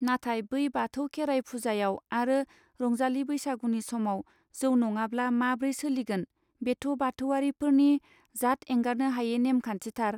नाथाय बै बाथौ खेराय फुजायाव आरो रंजालि बैसागुनि समाव जौ नङाब्ला माब्रै सोलिगोन बेथ' बाथौआरि फोरनि जाथ एंगारनो हायै नेमखान्थि थार!.